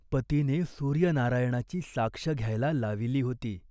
पतीने सूर्यनारायणाची साक्ष घ्यायला लाविली होती.